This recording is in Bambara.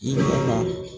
I nana